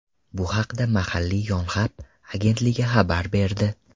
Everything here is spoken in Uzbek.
Bu haqda mahalliy Yonhap agentligi xabar berdi .